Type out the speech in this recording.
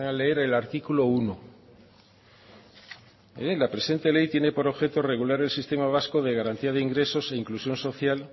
leer el artículo uno la presente ley tiene por objeto regular el sistema vasco de garantía de ingresos e inclusión social